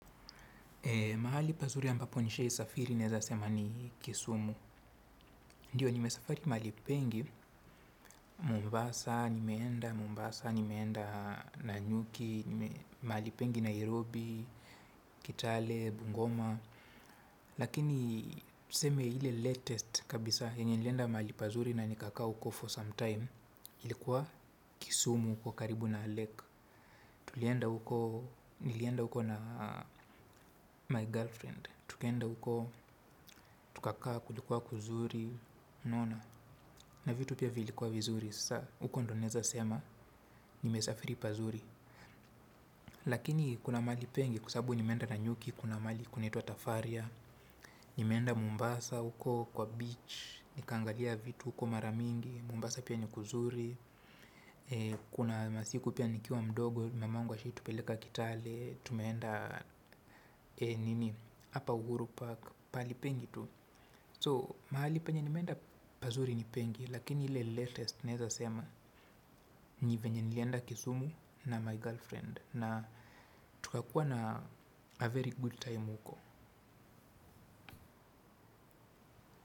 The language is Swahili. Mahali pazuri ambapo nishawahi safiri neweza sema ni Kisumu. Ndiyo, nimesafari mahali pengi, Mombasa, nimeenda Mombasa, nimeenda Nanyuki, mahali pengine Nairobi, Kitale, Bungoma. Lakini, tuseme ile karibuni kabisa, yenye nilenda mahali pazuri na nikakaa huko kwa muda, ilikuwa Kisumu huko karibu na ziwa. Tulienda huko. Nilenda huko na mpenzi wangu. Tukaenda huko tukakaa kulikuwa kuzuri, unaona, na vitu pia vilikuwa vizuri, sasa huko ndo naweza sema, nimesafiri pazuri. Lakini kuna mahali pengi, kwa sababu nimeenda Nanyuki, kuna mahali kunaitwa Tafaria, nimeenda Mombasa huko kwa ufuoni, nikaangalia vitu huko mara mingi, Mombasa pia ni kuzuri. Kuna masiku pia nikiwa mdogo. Mamangu alitupeleka Kitale. Tumeenda hapa Uhuru park pahali pengi tu. Kwa hivyo mahali penye nimeenda pazuri ni pengi. Lakini ile karibuni naweza sema ni venye nilienda Kisumu na mpenzi wangu na tukakuwa na wakati mzuri huko.